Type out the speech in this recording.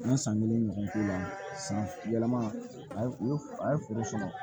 An ye san kelen ɲɔgɔn k'u la san yɛlɛma a ye foro sɔrɔ